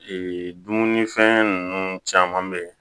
Ee dumunifɛn ninnu caman bɛ yen